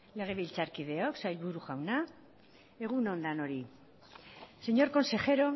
legebiltzarkideok sailburu jauna egun on denoi señor consejero